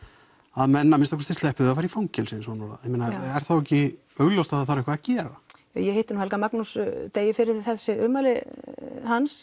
að menn að minnsta kosti sleppi við að fara í fangelsi er þá ekki augljóst að það þarf eitthvað að gera ég hitti nú Helga Magnús degi fyrir þessi ummæli hans